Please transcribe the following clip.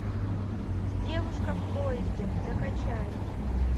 девушка в поезде закачай